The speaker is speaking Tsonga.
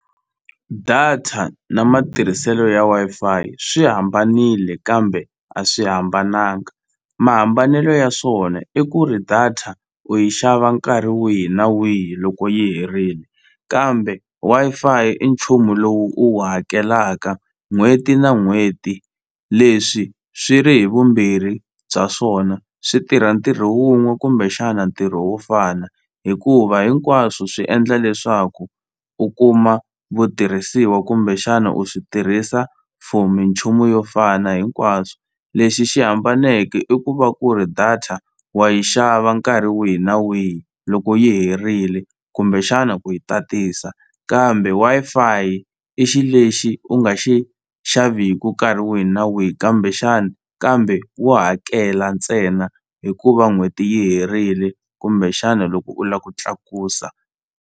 Data na matirhiselo ya Wi-Fi swi hambanile kambe a swi hambananga mahambanelo ya swona i ku ri data u yi xava nkarhi wihi na wihi loko yi herini kambe Wi-Fi i nchumu lowu u wu hakelaka n'hweti na n'hweti leswi swi ri hi vumbirhi bya swona swi tirha ntirho wun'we kumbexana ntirho wo fana hikuva hinkwaswo swi endla leswaku u kuma vutirhisiwa kumbexana u swi tirhisa for minchumu yo fana hinkwaswo lexi xi hambaneke i ku va ku ri data wa yi xava nkarhi wihi na wihi loko yi herile kumbexana ku yi ta tisa kambe Wi-Fi i xi lexi u nga xi xaveku nkarhi wihi na wihi kambe xana kambe wo hakela ntsena hikuva n'hweti yi herile kumbexani loko u la ku tlakusa.